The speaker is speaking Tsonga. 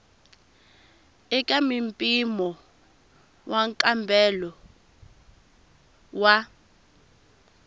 eka mimpimo wa nkambelo wa